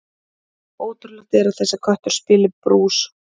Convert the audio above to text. Ólíklegt er að þessi köttur spili brús.